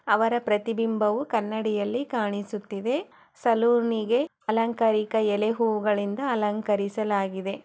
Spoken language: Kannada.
ಅವರ ಪ್ರತಿಬಿಂಬವು ಕನ್ನಡಿಯಲ್ಲಿ ಕಾಣಿಸುತ್ತಿದೆ. ಸಲೂನಿಗೆ ಅಲಂಕಾರಿಕ ಎಲೆ ಹೂಗಳಿಂದ ಅಲಂಕರಿಸಲಾಗಿದೆ.